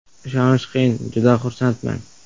Ishonish qiyin, juda xursandman.